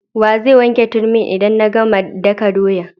Wa zai wanke turmin' idan na gama daka doyan?